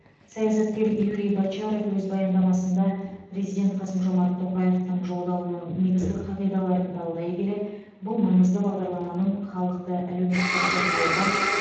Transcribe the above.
саясаткер юрий бочаров өз баяндамасында президент қасым жомарт тоқаевтың жолдауының негізгі қағидаларын талдай келе бұл маңызды бағдарламаның халықты әлеуметтік қорғауға